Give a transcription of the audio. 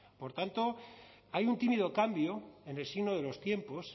por tanto hay un tímido cambio en el signo de los tiempos